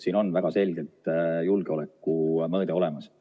Siin on väga selgelt julgeolekumõõde olemas.